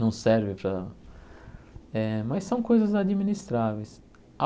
Não serve para eh, mas são coisas administráveis.